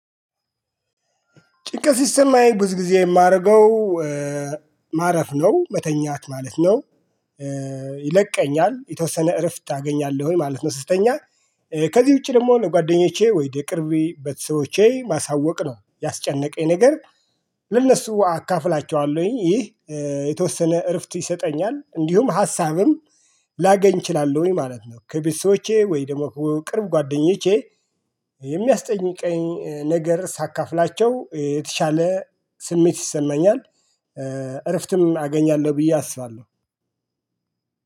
ጭንቀት ሲሰማኝ ብዙ ጊዜ የማደርገው ማረፍ ነው መተኛት ማለት ነው። ይለቀኛል የተወሰነ እረፍት አገኛለሁኝ ማለት ነው። ስተኛ ከዚህ ውጪ ደግሞ ነው ለጓደኞቼ ወይ ለቅርብ ቤተሰቦቼ ማሳወቅ ነው ያስጨነቀኝ ነገር ለእነሱ አካፍላቸዋለሁኝ። ይህ የተወሰነ እረፍት ይሰጠኛል እንዲሁም ሀሳብም ላገኝ እችላለሁኝ ማለት ነው። ከቤተሰቦቼ ወይ ደግሞ ከቅርብ ጓደኞቼ የሚያስጨንቀኝ ነገር ሳካፍላቸው የተሻለ ስሜት ይሰማኛል። እረፍትም አገኛለሁ ብዬ አስባለሁ።